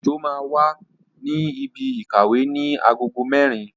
Ojo máa wà ní ibi ìkàwé ní agogo mẹ́rin